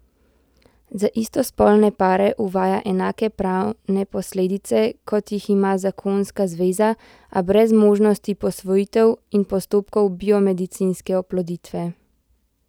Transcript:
Za istospolne pare uvaja enake pravne posledice, kot jih ima zakonska zveza, a brez možnosti posvojitev in postopkov biomedicinske oploditve.